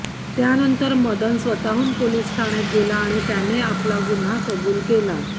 त्यानंतर मदन स्वतःहून पोलीस ठाण्यात गेला आणि त्याने आपली गुन्हा कबूल केला